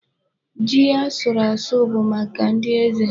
Ji a sụrụ asụ bụ maka ndị eze.